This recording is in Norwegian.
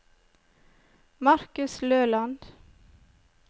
Markus Løland